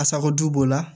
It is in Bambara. A sagoju b'o la